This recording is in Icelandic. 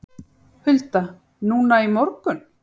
Hulda: Núna í morgun?